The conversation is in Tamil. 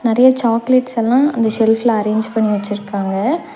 நேறைய சாக்லேட்ஸ் எல்லா அந்த செல்ப்ல அரேஞ்ச் பண்ணி வெச்சிருக்காங்க.